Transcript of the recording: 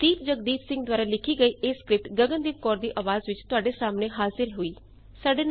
ਦੀਪ ਜਗਦੀਪ ਸਿੰਘ ਦੁਆਰਾ ਲਿਖੀ ਇਹ ਸਕ੍ਰਿਪਟ ਗਗਨ ਦੀਪ ਕੌਰ ਦੀ ਆਵਾਜ਼ ਵਿੱਚ ਤੁਹਾਡੇ ਸਾਹਮਣੇ ਹਾਜ਼ਿਰ ਹੋਈ